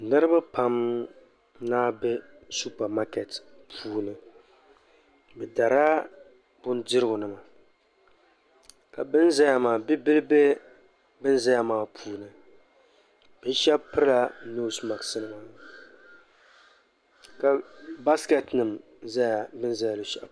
Niriba pam n be supamaketi puuni bɛ darila bindirigu nima ka bini zaya maa bi bi bihi be ban zaya maa puuni bɛ sheba pirila noosi maaki nima ka baasiketi mima za bini za luɣushɛli polo maa.